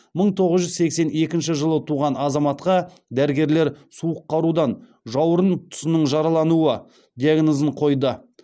мың тоғыз жүз сексен екінші жылы туған азаматқа дәрігерлер суық қарудан жауырын тұсының жаралануы диагнозын қойды